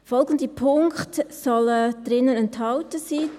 Folgende Punkte sollen darin enthalten sein: